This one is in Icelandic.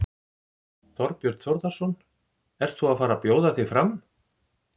Þorbjörn Þórðarson: Ert þú að fara bjóða þig fram?